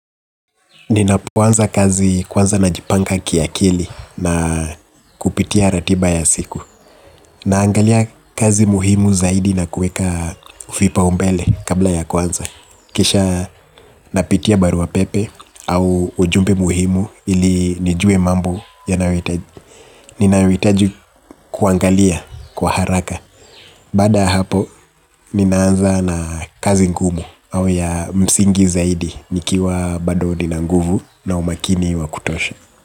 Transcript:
Ninapoanza kazi kwanza najipanga kiakili na kupitia ratiba ya siku. Naangalia kazi muhimu zaidi na kuweka vipaumbele kabla ya kwanza. Kisha napitia barua pepe au ujumbe muhimu ili nijue mambo yanayohitaji ninayohitaji kuangalia kwa haraka. Baada ya hapo, ninaanza na kazi ngumu au ya msingi zaidi nikiwa bado nina nguvu na umakini wa kutosha.